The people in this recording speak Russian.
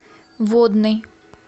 водный